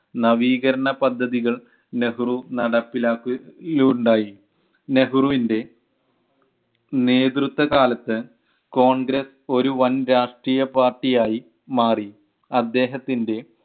നവീകരണ പദ്ധതികൾ നെഹ്‌റു നടപ്പിലാക്ക യുണ്ടായി നെഹ്രുവിൻ്റെ നേതൃത്വ കാലത്ത് കോൺഗ്രസ് ഒരു വൻ രാഷ്ട്രീയപാർട്ടി ആയി മാറി. അദ്ദേഹത്തിൻ്റെ